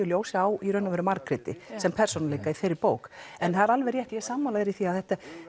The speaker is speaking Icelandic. ljósi á Margréti sem persónuleika í þeirri bók en það er alveg rétt ég er sammála þér í því að þetta er